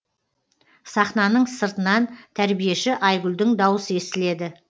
сахнаның сыртынан тәрбиеші айгүлдің дауысы естіледі